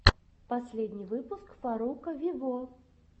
последний выпуск фарруко виво